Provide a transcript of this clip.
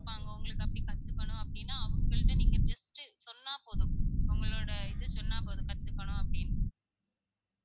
இருப்பாங்க உங்களுக்கு அப்படி கத்துக்கனும் அப்படினா அவங்கள்ட்ட நீங்க just சொன்னா போதும் ஒங்களோட இத சொன்னா போதும் கத்துக்கணும் அப்படின்னு